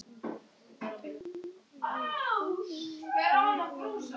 Og hlustaði ringluð á Lenu ljúka sögu sinni.